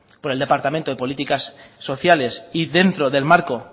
por el departamento de políticas sociales y dentro del marco